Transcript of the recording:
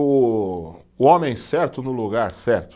O o homem certo no lugar certo.